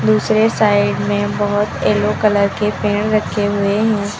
दूसरे साइड में बहोत येलो कलर के पेड़ रखे हुए हैं।